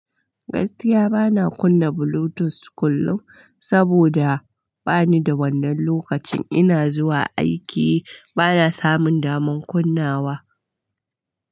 Gaskiya bana kunna bluetooth kullum, saboda bani da wannan lokacin ina zuwa aiki bana samun daman kunnawa.